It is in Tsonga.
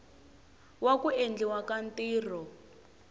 wa ku endliwa ka ntirho